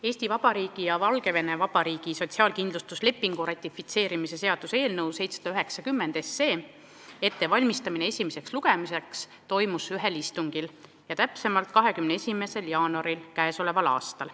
Eesti Vabariigi ja Valgevene Vabariigi sotsiaalkindlustuslepingu ratifitseerimise seaduse eelnõu 790 ettevalmistamine esimeseks lugemiseks toimus ühel istungil, mis oli 21. jaanuaril.